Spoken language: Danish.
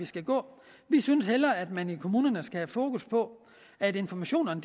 skal gå vi synes hellere at man i kommunerne skal have fokus på at informationerne